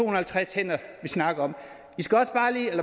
og halvtreds hænder vi snakker om